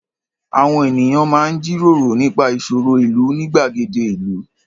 Àwọn ènìyàn máa ń jíròró nípa ìṣòro ìlú ní gbàgede ìlú.